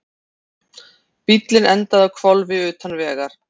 Bíllinn endaði á hvolfi utan vegar